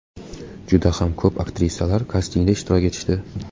Juda ham ko‘p aktrisalar kastingda ishtirok etishdi.